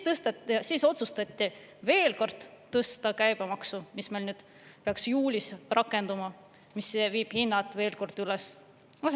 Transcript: Siis otsustati veel kord tõsta käibemaksu, mis meil nüüd peaks juulis rakenduma, mis viib hinnad veel kord üles.